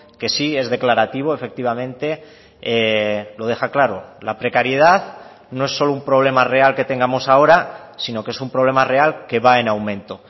que sí es declarativo efectivamente lo deja claro la precariedad no es solo un problema real que tengamos ahora sino que es un problema real que va en aumento